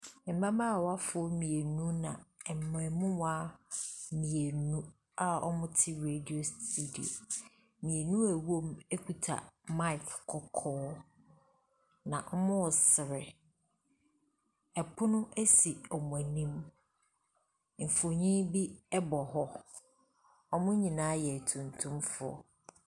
Mmabaawafoɔ mmienu na mmarimaa mmienu a wɔte radio studio. Mmienu a wɔwɔ mu kuta mic kɔkɔɔ, na wɔresere. Pono si wɔn anim. Mfonin bi bɔ hɔ. Wɔn nyinaa yɛ tuntumfoɔ.